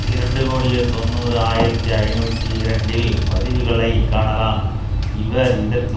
இரண்டு கோடியே தொன்னூறு ஆயிரத்தி ஐநூற்று இரண்டில் பதிவுகளை காணலாம் இவர் இதற்கு